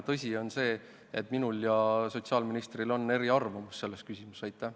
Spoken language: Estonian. Tõsi on ka see, et minul ja sotsiaalministril on selles küsimuses eri arvamus.